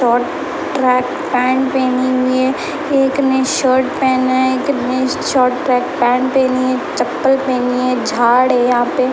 और track pant पहनी हुई है एक ने शर्ट पहना है कितने शॉट पाक पैंट चप्पल पहनी है झाड़ है यहाँ पर --